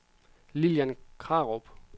Lilian Krarup